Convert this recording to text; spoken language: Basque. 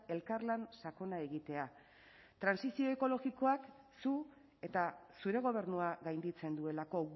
elkarlan sakona egitea trantsizio ekologikoak zu eta zure gobernua gainditzen duelako